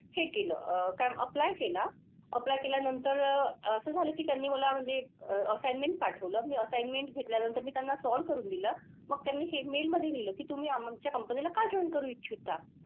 हे केलं अह काय apply केला? Apply केल्यानंतर असं झालं की त्यांनी मला म्हणजे assignment पाठवलं. मी assignment घेतल्यानंतर मी त्यांना solve करून दिलं. मग त्यांनी हे mail मधे लिहिलं की तुम्ही आमच्या company ला का join करू इच्छिता?